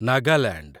Nagaland